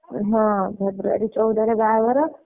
ହଁ February ରେ ବାହାଘର।